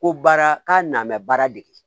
Ko baara k'a nan bɛ baara dege